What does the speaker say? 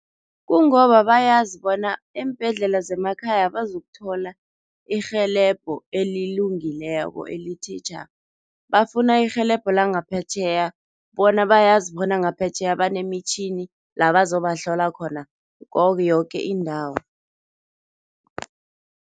Kungoba bayazi bona eembhedlela zemakhaya abazukuthola irhelebho elilungileko, elithe tjha. Bafuna irhelebho langaphetjheya bona bayazi bona ngaphetjheya banemitjhini la bazobahlola khona yoke indawo.